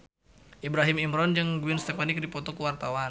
Ibrahim Imran jeung Gwen Stefani keur dipoto ku wartawan